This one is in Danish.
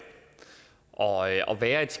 der ikke